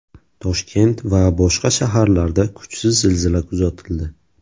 Toshkent va boshqa shaharlarda kuchsiz zilzila kuzatildi.